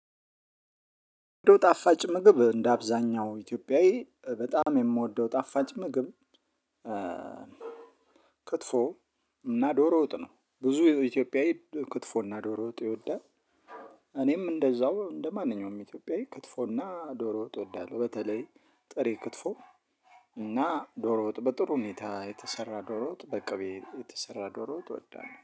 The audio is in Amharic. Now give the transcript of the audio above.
የምወደው ጣፋጭ ምግብ እንደ አብዛኛው ኢትዮጵያዊ በጣም የምወደው ጣፋጭ ምግብ። ክትፎ እና ዶሮ ወጥ ነው ብዙ ኢትዮጵያዊ ክትፎ እና ዶሮ ወጥ ይወዳል። እኔም እንደዛው እንደማንኛውም ኢትዮጵያዊ ክትፎ እና ዶሮ ወጥ እወዳለው። በተለይ ጥሬ ክትፎ እና ዶሮ ወጥ በጥሩ ሁኔታ የተሰራ ዶሮ ወጥ በቅቤ የተሰራ ዶሮ ወጥ እወዳለሁ